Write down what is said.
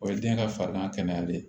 O ye den ka farigan kɛnɛya ye